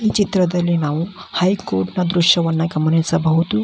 ಈ ಚಿತ್ರದಲ್ಲಿ ನಾವು ಹೈ ಕೋರ್ಟ್ನ ದೃಶ್ಯವನ್ನ ಗಮನಿಸಬಹುದು .